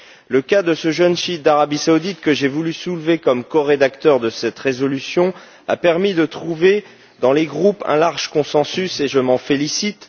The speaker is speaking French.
Le cas de ce jeune chiite d'Arabie saoudite, que j'ai voulu soulever comme corédacteur de cette résolution, a permis de trouver dans les groupes un large consensus, et je m'en félicite.